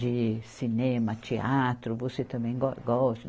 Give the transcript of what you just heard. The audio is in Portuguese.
de cinema, teatro, você também go, gosta.